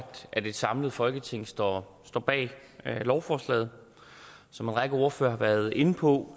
at et samlet folketing står står bag lovforslaget som en række ordførere har været inde på